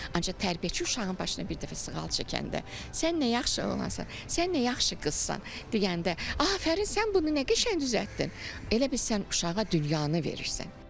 Ancaq tərbiyəçi uşağın başına bir dəfə sığal çəkəndə, "Sən nə yaxşı oğlansan, sən nə yaxşı qızsan" deyəndə, "Afərin, sən bunu nə qəşəng düzəltdin" elə bil sən uşağa dünyanı verirsən.